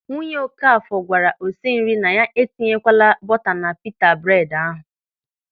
Nwunye Okafọ gwara osinri na ya etinyekwala buta na pita bred ahụ.